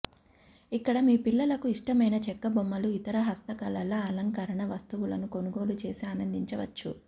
ఇక్కడ మీ పిల్లలకు ఇష్టమైన చెక్క బొమ్మలు ఇతర హస్త కళల అలంకరణ వస్తువులను కొనుగోలు చేసి ఆనందించవచ్చు